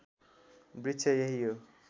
वृक्ष यही हो